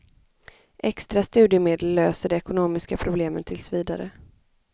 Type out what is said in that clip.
Extra studiemedel löser de ekonomiska problemen tills vidare.